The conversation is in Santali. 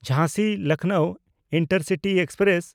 ᱡᱷᱟᱸᱥᱤ-ᱞᱚᱠᱷᱱᱚᱣ ᱤᱱᱴᱟᱨᱥᱤᱴᱤ ᱮᱠᱥᱯᱨᱮᱥ